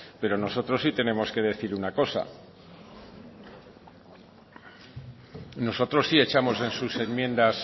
pero nosotros sí tenemos que decir una cosa nosotros sí echamos en sus enmiendas